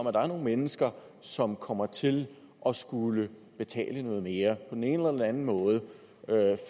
at der nogle mennesker som kommer til at skulle betale noget mere på den ene eller den anden måde